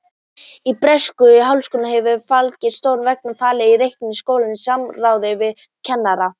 Í breskum háskólum hefur faglegri stjórn verið falið að reka skólana í samráði við kennara.